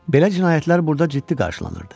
Belə cinayətlər burada ciddi qarşılanırdı.